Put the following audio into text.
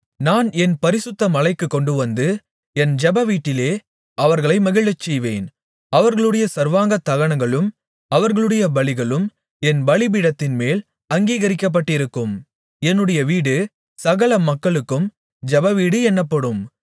நான் என் பரிசுத்த மலைக்குக் கொண்டுவந்து என் ஜெபவீட்டிலே அவர்களை மகிழச்செய்வேன் அவர்களுடைய சர்வாங்கதகனங்களும் அவர்களுடைய பலிகளும் என் பலிபீடத்தின்மேல் அங்கீகரிக்கப்பட்டிருக்கும் என்னுடைய வீடு சகல மக்களுக்கும் ஜெபவீடு என்னப்படும்